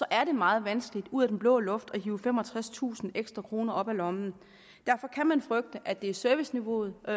er det meget vanskeligt ud af den blå luft at hive femogtredstusind ekstra kroner op af lommen derfor kan man frygte at det bliver serviceniveauet og